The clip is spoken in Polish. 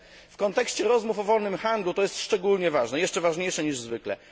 W kontekście rozmów o wolnym handlu jest to szczególnie ważne, jeszcze ważniejsze niż zwykle.